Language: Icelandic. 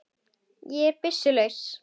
Ég er byssu laus.